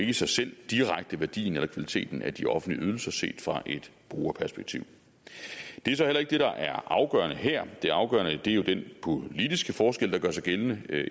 i sig selv direkte værdien eller kvaliteten af de offentlige ydelser set fra et brugerperspektiv det er så heller ikke det der er afgørende her det afgørende er jo den politiske forskel der gør sig gældende